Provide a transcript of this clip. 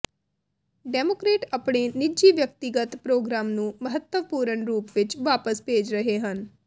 democrat ਆਪਣੇ ਨਿੱਜੀ ਵਿਅਕਤੀਗਤ ਪ੍ਰੋਗਰਾਮ ਨੂੰ ਮਹੱਤਵਪੂਰਣ ਰੂਪ ਵਿੱਚ ਵਾਪਸ ਭੇਜ ਰਹੇ ਹਨ